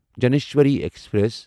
Gyaneshwari express